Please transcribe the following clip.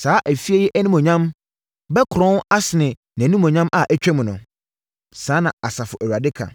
‘Saa fie yi animuonyam bɛkorɔn asene nʼanimuonyam a atwam no.’ Saa na Asafo Awurade ka.